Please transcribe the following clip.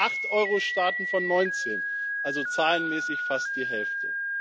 Das sind acht Euro Staaten von 19, also zahlenmäßig fast die Hälfte.